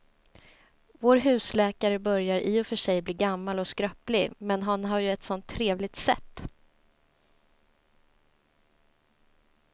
Vår husläkare börjar i och för sig bli gammal och skröplig, men han har ju ett sådant trevligt sätt!